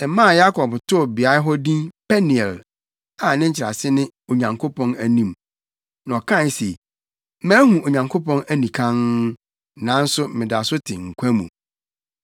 Ɛmaa Yakob too beae hɔ din Peniel, a ne nkyerɛase ne “Onyankopɔn Anim.” Na ɔkae se, “Mahu Onyankopɔn anikann, nanso meda so te nkwa mu.”